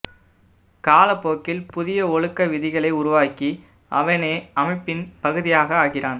காலப்போக்கில் புதிய ஒழுக்க விதிகளை உருவாக்கி அவனே அமைப்பின் பகுதியாக ஆகிறான்